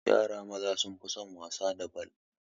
Yara maza sun fi son wasa da bal